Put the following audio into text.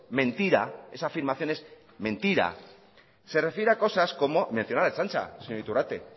mentira esa afirmación es mentira se refiere a cosas como menciona la ertzaintza señor iturrate